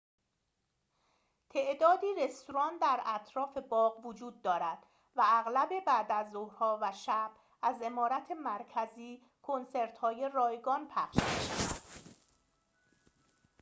تعدادی رستوران در اطراف باغ وجود دارد و اغلب بعدازظهرها و شب از عمارت مرکزی کنسرت‌های رایگان پخش می‌شود